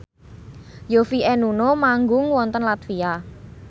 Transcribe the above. Yovie and Nuno manggung wonten latvia